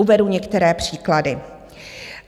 Uvedu některé příklady.